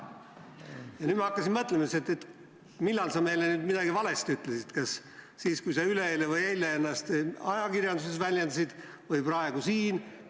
Nüüd ma hakkasin mõtlema, millal sa meile siis midagi valesti ütlesid: kas siis, kui sa üleeile või eile ennast ajakirjanduses väljendasid, või praegu siin.